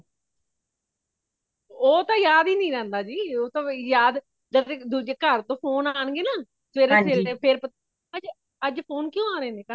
ਉਹ ਤੇ ਯਾਦ ਹੀ ਨਹੀਂ ਰਹਿੰਦਾ ਜੀ ਉਹ ਤੇ ਬਈ ਯਾਦ ਜਦ ਦੂਜੇ ਘਰ ਤੋਂ phone ਅਣਗੇ ਨਾ ਸਵੇਰੇ ਸਵੇਰੇ ਫੇਰ ਪਤਾ ਅੱਜ phone ਕਉ ਰਹੇ ਨੇ ਘਰ ਤੋਂ